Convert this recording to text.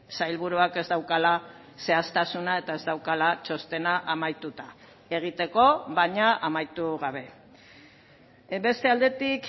sailburuak ez daukala zehaztasuna eta ez daukala txostena amaituta egiteko baina amaitu gabe beste aldetik